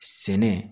Sɛnɛ